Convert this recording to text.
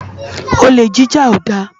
Olé jijá ó dá